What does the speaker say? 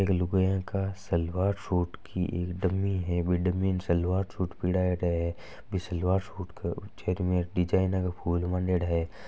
एक लुगाया का सलवार सूट की डमी है। बि डमी न सलवार सूट फरायेडा हैं। बि सलवार सूट क चारो मेर डिजाइन का फूल मांडेडा है।